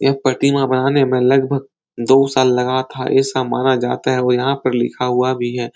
यह प्रतिमा बनाने में लगभग दो साल लगा था। ऐसा माना जाता है और यहाँ पर लिखा हुआ भी है।